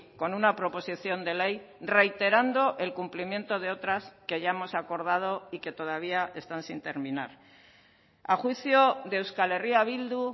con una proposición de ley reiterando el cumplimiento de otras que hayamos acordado y que todavía están sin terminar a juicio de euskal herria bildu